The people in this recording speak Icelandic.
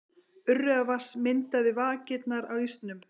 Urriðavatns myndaði vakirnar á ísnum.